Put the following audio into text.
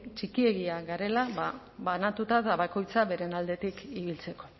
txikiegia garela banatuta eta bakoitza bere aldetik ibiltzeko